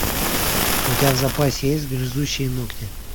у тебя в запасе есть грызущие ногти